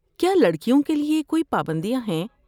کیا لڑکیوں کے لیے کوئی پابندیاں ہیں؟